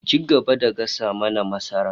Ci gaba da gasa mana masarar